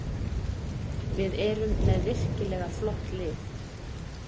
Við erum með virkilega flott lið